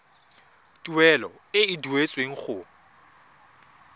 tuelo e e duetsweng go